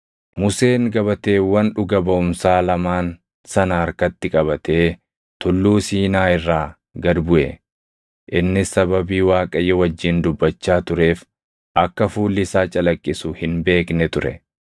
Museen gabateewwan Dhuga baʼumsaa lamaan sana harkatti qabatee Tulluu Siinaa irraa gad buʼe; innis sababii Waaqayyo wajjin dubbachaa tureef akka fuulli isaa calaqqisu hin beekne ture.